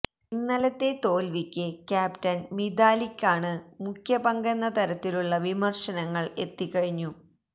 ഇന്നലത്തെ തോല്വിക്ക് ക്യാപ്റ്റന് മിതാലിക്കാണ് മുഖ്യ പങ്കെന്ന തരത്തിലുള്ള വിമര്ശനങ്ങള് എത്തി കഴിഞ്ഞു